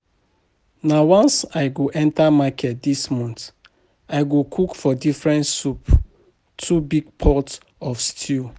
Na once I go enter market dis month. I go cook four different soup with two big pot of stew